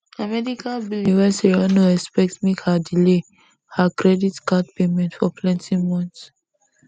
na medical billing wey sarah no expect make her delay her credit card payment for plenty months